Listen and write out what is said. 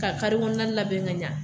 Ka kare kɔnɔna labɛn ka ɲa.